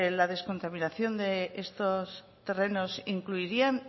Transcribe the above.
la descontaminación de estos terrenos incluirían